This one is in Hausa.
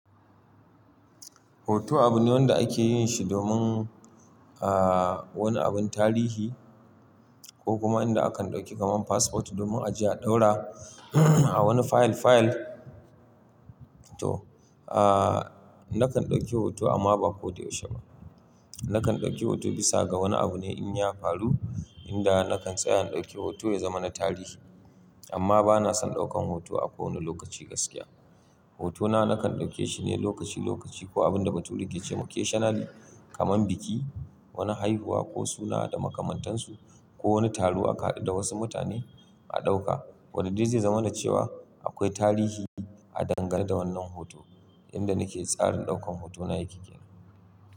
Hoto abu ne wanda ake yin shi domin, ah, wani abun tarihi ko kuma inda akan ɗauki kamar passport domin aje a ɗaura a wani fayil fayil. To, ah, nakan ɗauki hoto amma ba koda yaushe ba. Nakan ɗauki hoto bisa ga wani abu ne in ya faru, inda nakan tsaya in ɗauki hoto ya zama na tarihi. Amma bana son ɗaukan hoto a kowane lokaci gaskiya. Hotona nakan ɗauke shi ne lokaci lokaci ko abun da bature ke ce ma occasionally, kamar biki, wani haihuwa ko suna da makamantansu ko wani taro aka haɗu da wasu mutane a ɗauka. Wanne dai zai zama na cewa akwai tarihi a dangane da wannan hoto, inda nake tsarin ɗaukan hotona yake ƙira.